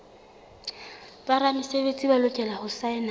boramesebetsi ba lokela ho saena